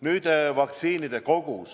Nüüd, vaktsiinide kogus.